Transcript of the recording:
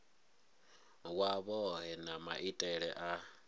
wa vhohe na maitele a